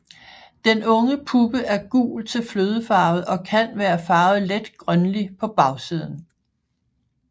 Den unge puppe er gul til flødefarvet og kan være farvet let grønlig på bagsiden